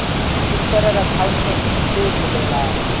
ho chartered accountant se bolelang